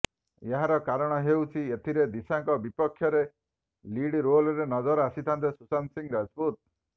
ଏହାକ କାରଣ ହେଉଛି ଏଥିରେ ଦିଶାଙ୍କ ବିପକ୍ଷରେ ଲିଡ ରୋଲରେ ନଜର ଆସିଥାନ୍ତେ ସୁଶାନ୍ତ ସିଂ ରାଜପୁତ